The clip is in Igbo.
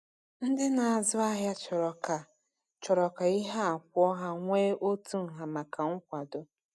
Ndị na-azụ ahịa chọrọ ka chọrọ ka ihe a kwụọ ha nwee otu nha maka nkwakọ.